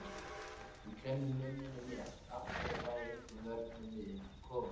Ég klemmi munninn aftur en fæ engum vörnum við komið.